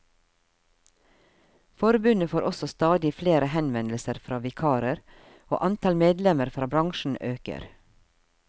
Forbundet får også stadig flere henvendelser fra vikarer, og antall medlemmer fra bransjen øker.